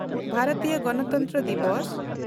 ᱵᱷᱟᱨᱚᱛᱤᱭᱚ ᱜᱚᱱᱚᱛᱚᱱᱛᱨᱚ ᱫᱤᱵᱚᱥ